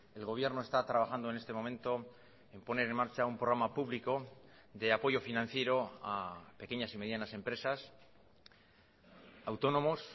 el gobierno está trabajando en este momento en poner en marcha un programa público de apoyo financiero a pequeñas y medianas empresas autónomos